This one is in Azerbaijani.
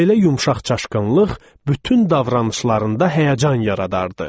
Belə yumşaqçaşqınlıq bütün davranışlarında həyəcan yaradardı.